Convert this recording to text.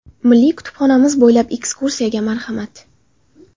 Milliy kutubxonamiz bo‘ylab ekskursiyaga marhamat!.